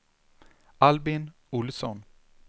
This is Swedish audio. Albin Ohlsson